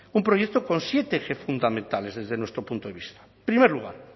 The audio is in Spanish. un proyecto con siete ejes fundamentales desde nuestro punto de vista primer lugar